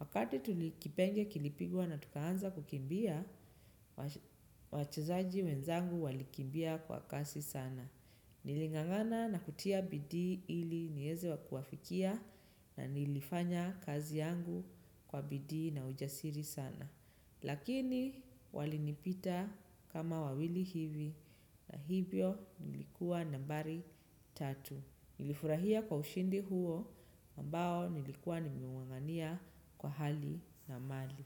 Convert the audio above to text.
Wakati kipenga kilipigwa na tukaanza kukimbia, wachezaji wenzangu walikimbia kwa kasi sana. Niling'ang'ania na kutia bidii ili niweze kuwafikia, na nilifanya kazi yangu kwa bidii na ujasiri sana. Lakini walinipita kama wawili hivi na hivyo nilikuwa nambari tatu. Nilifurahia kwa ushindi huo ambao nilikuwa nimung'ang'ania kwa hali na mali.